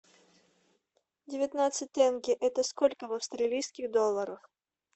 девятнадцать тенге это сколько в австралийских долларах